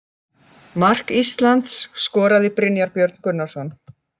Mark Íslands skoraði Brynjar Björn Gunnarsson.